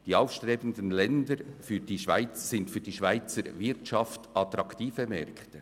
Die aufstrebenden Länder bieten für die Schweizer Wirtschaft den Zugang zu attraktiven Märkten.